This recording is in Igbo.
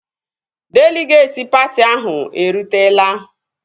Deligeetị patị ahụ erutela